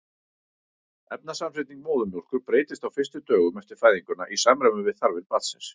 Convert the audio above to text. efnasamsetning móðurmjólkur breytist á fyrstu dögum eftir fæðinguna í samræmi við þarfir barnsins